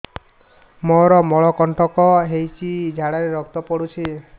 ମୋରୋ ମଳକଣ୍ଟକ ହେଇଚି ଝାଡ଼ାରେ ରକ୍ତ ପଡୁଛି